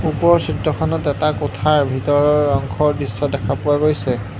ওপৰৰ চিত্ৰখনত এটা কোঠাৰ ভিতৰৰ অংশৰ দৃশ্য দেখা পোৱা গৈছে।